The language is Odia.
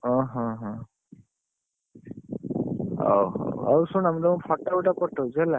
ଓହୋ ହୋ ହଉ ଶୁଣ ମୁ ତମକୁ photo ଗୋଟାଏ ପଠଉଛି ହେଲା।